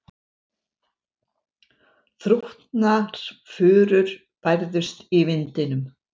Þrútnar furur bærðust í vindinum.